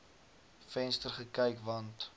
venster gekyk want